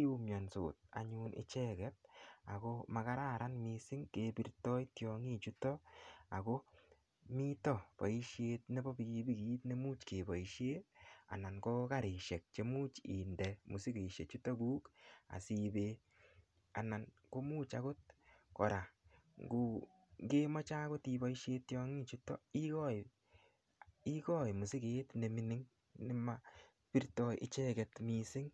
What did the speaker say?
iumionsot anyun icheget akomakararan mising' kebirtoi tiongichuto ako mito boishet nebo pikipikit nemuch keboishe anan ko karishek chemuch inde mosikeshechuto kuk asiibe anan komuch akot kora ngokemoche akot iboishe tiong'ichuto ikoi misiget nemini nemapirtoi icheget mising'